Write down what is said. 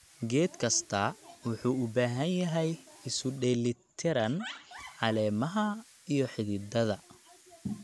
Geed kastaa wuxuu u baahan yahay isu dheelli tiran caleemaha iyo xididdada.